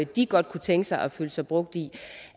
de godt kunne tænke sig at føle sig brugt i